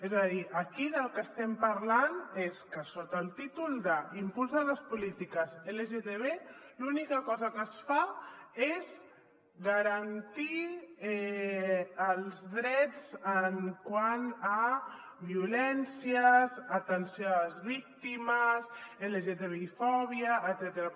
és a dir aquí del que estem parlant és que sota el títol d’ impuls de les polítiques lgtb l’única cosa que es fa és garantir els drets quant a violències atenció a les víctimes lgtbi fòbia etcètera